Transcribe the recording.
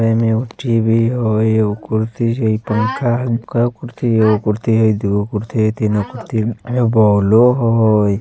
ए में टी_वी होई एगो कुर्सी हाई पंखा वंखा कुर्सी एगो कुर्सी है दूगो कुर्सी है तीन गो कुर्सी हाई एमे बोलो हाई --